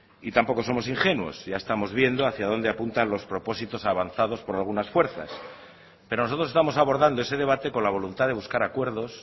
y tampoco somos ingenuos ya estamos viendo hacia donde apunta los propósitos avanzados por algunas fuerzas pero nosotros estamos abordando ese debate con la voluntad de buscar acuerdos